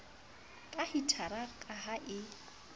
ka hitara ka ha e